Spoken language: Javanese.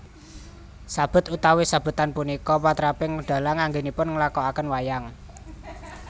Sabet utawi sabetan punika patraping dhalang anggènipun nglakokaken wayang